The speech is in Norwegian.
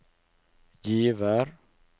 Givær